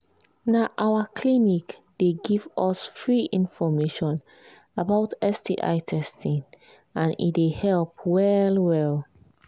na our clinic they give us free information about sti testing and he they help well well